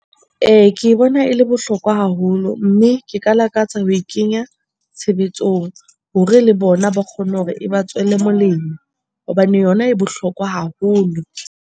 Ee, ke bona e le bohlokwa haholo mme ke ka lakatsa ho e kenya tshebetsong hore le bona ba kgone hore e ba tswele molemo hobane yona e bohlokwa haholo.